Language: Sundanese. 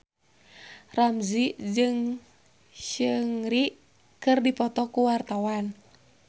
Ramzy jeung Seungri keur dipoto ku wartawan